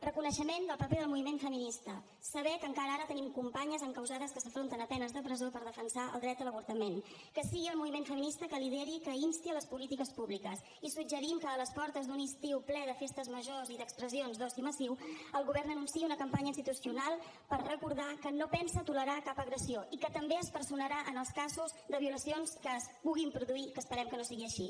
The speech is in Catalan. reconeixement del paper del moviment feminista saber que encara ara tenim companyes encausades que s’enfronten a penes de presó per defensar el dret a l’avortament que sigui el moviment feminista qui lideri qui insti les polítiques públiques i suggerim que a les portes d’un estiu ple de festes majors i d’expressions d’oci massiu el govern anunciï una campanya institucional per recordar que no pensa tolerar cap agressió i que també es personarà en els casos de violacions que es puguin produir que esperem que no sigui així